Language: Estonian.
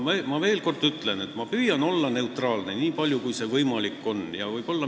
Ma veel kord ütlen, et ma püüan olla neutraalne, nii palju kui see võimalik on.